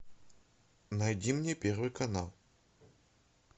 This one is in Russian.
найди мне первый канал